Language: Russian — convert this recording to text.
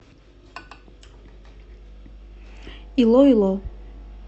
илоило